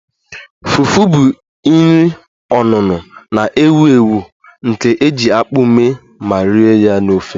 Fufu bụ nri onuno na-ewu ewu nke e ji akpu mee ma rie ya na ofe